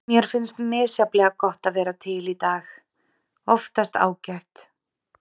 Mér finnst misjafnlega gott að vera til í dag- oftast ágætt.